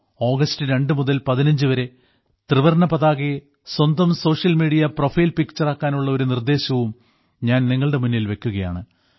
August രണ്ടു മുതൽ 15 വരെ ത്രിവർണ്ണ പതാകയെ സ്വന്തം സോഷ്യൽ മീഡിയാ പ്രൊഫൈൽ പിക്ചറാക്കാനുള്ള ഒരു നിർദ്ദേശവും ഞാൻ നിങ്ങളുടെ മുന്നിൽ വെയ്ക്കുകയാണ്